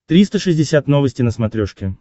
триста шестьдесят новости на смотрешке